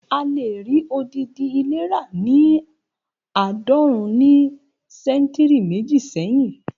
A lè rí odidi ilé ra ni aadọrun ní ṣẹ́ntìrì méjì sẹ́hìn